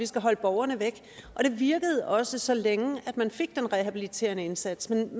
skulle holde borgerne væk og det virkede også så længe man fik den rehabiliterende indsats men